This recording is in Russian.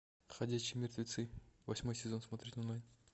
ходячие мертвецы восьмой сезон смотреть онлайн